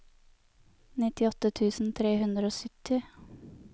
nittiåtte tusen tre hundre og sytti